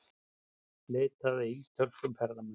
Leitað að ítölskum ferðamanni